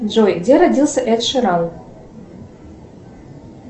джой где родился эд ширан